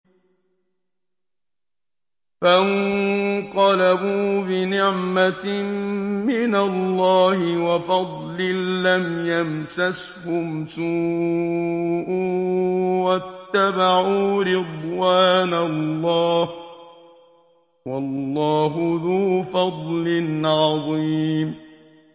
فَانقَلَبُوا بِنِعْمَةٍ مِّنَ اللَّهِ وَفَضْلٍ لَّمْ يَمْسَسْهُمْ سُوءٌ وَاتَّبَعُوا رِضْوَانَ اللَّهِ ۗ وَاللَّهُ ذُو فَضْلٍ عَظِيمٍ